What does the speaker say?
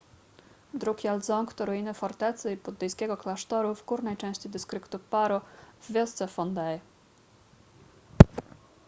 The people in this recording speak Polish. drukgyal dzong to ruiny fortecy i buddyjskiego klasztoru w górnej części dystryktu paro w wiosce phondey